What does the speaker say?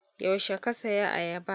Yaushe ka saya ayaba?